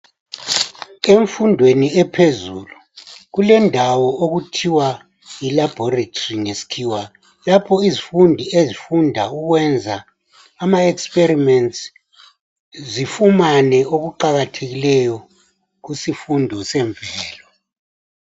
Emfundweni ephezulu kulendawo okuthiwa yi laboritory ngesikhiwa lapho izifundi ezifunda ukwenza amaexperiments zifumane okuqakathekileyo kusifundo zemvelo.